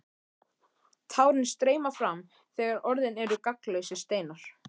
Tárin streyma fram þegar orðin eru gagnslausir steinar.